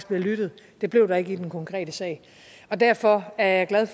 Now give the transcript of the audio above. bliver lyttet det blev der ikke i den konkrete sag derfor er jeg glad